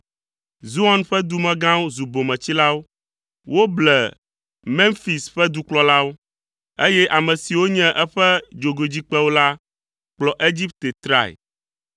Zoan ƒe dumegãwo zu bometsilawo. Woble Memfis ƒe dukplɔlawo, eye ame siwo nye eƒe dzogoedzikpewo la kplɔ Egipte trae.